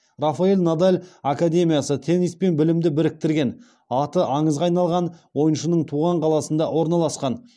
рафаэль надаль академиясы теннис пен білімді біріктірген аты аңызға айналған ойыншының туған қаласында орналасқан